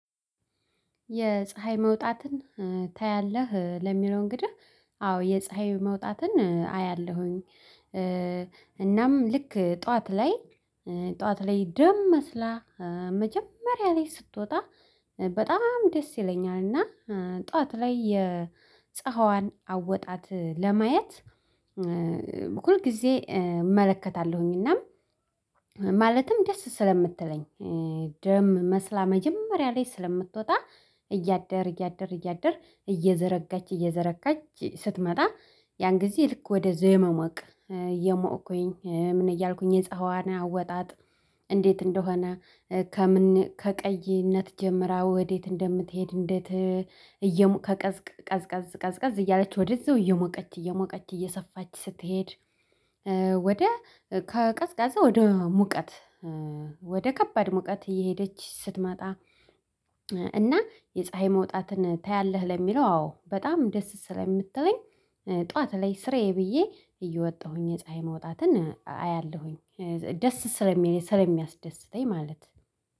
የፀሀይ መውጣትን ታያለህ? ለሚለው እንግዲህ አዎ! የፀሀይ መውጣትን አያለሁኝ። እናም ልክ ጠዋት ላይ ጠዋት ላይ ደም መስላ መጀመሪያ ላይ ስትወጣ በጣም ደስ ይለኛል። እና ጠዋት ላይ የፀሀዋን አወጣጥ ለማየት በኩል ጊዜ እመለከታለሁኝ። ማለትም ደስ ስለምትለኝ ደም መስላ መጀመሪያ ላይ ስለምትወጣ እያደር እያደር እያደር እየዘረጋች እየዘረጋች ስትመጣ ያን ጊዜ ልክ ወደ ዘመመቅ የሞአኩኝ ምን እያልኩኝ የፀሀዋና አወጣጥ እንዴት እንደሆነ ከቀይነት ጀምራ ወዴት እንደምትሄድ እንዴት እየሞ ከቀዝቅ ቀዝቃዝ ቀዝቃዝ እያለች ወደዛው እየሞቀች እየሞቀች እየሰፋች ስትሄድ ወደ ከቀዝቃዛ ወደ ሙቀት ወደ ከባድ ሙቀት እየሄደች ስትመጣ እና የፀሀይ መውጣትን ታያለህ? ለሚለው አዎ በጣም ደስ ስለምትለኝ ጠዋት ላይ ስራዬ ብዬ እየወጣሁኝ የፀሀይ መውጣትን አያለሁኝ። ደስ ስለሚል ስለሚያስደስተኝ ማለት